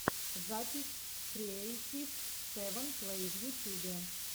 запись креэйтив сэвэн плэй в ютюбе